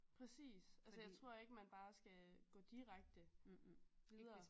Præcis altså jeg tror ikke man bare skal gå direkte videre